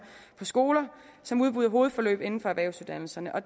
på skoler som udbyder hovedforløb inden for erhvervsuddannelserne og